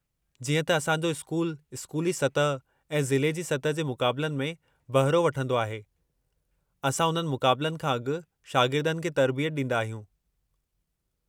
जीअं त असां जो स्कूलु स्कूली सतह ऐं ज़िले जी सतह ते मुक़ाबलनि में बहिरो वठंदो आहे, असां उन्हनि मुक़ाबलनि खां अॻु शागिर्दनि खे तरबियत ॾींदा आहियूं।